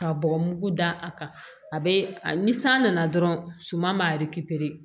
Ka bɔgɔ mugu da a kan a bɛ ni san nana dɔrɔn suman b'a